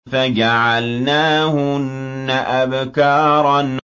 فَجَعَلْنَاهُنَّ أَبْكَارًا